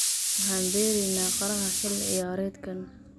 waxaan beereynaa qaraha xilli ciyaareedkan